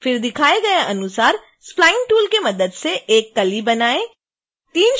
फिर दिखाए गए अनुसार spline टूल की मदद से एक कली बनाएँ